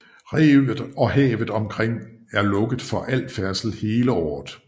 Revet og havet omkring er lukket for al færdsel hele året